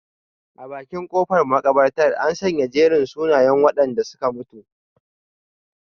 A bakin kofar makabartar, an sanya jerin sunayen wadanda suka mutu.